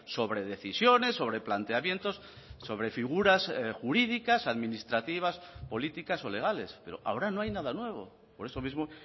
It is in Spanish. sobre decisiones sobre planteamientos sobre figuras jurídicas administrativas políticas o legales pero ahora no hay nada nuevo por eso mismo